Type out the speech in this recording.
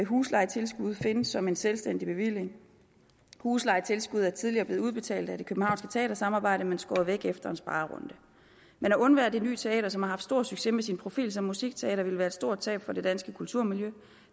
huslejetilskud findes som en selvstændig bevilling huslejetilskuddet er tidligere blevet udbetalt af det københavnske teatersamarbejde men skåret væk efter en sparerunde men at undvære det ny teater som har haft stor succes med sin profil som musikteater ville være et stort tab for det danske kulturmiljø og